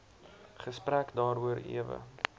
gesprek daaroor ewe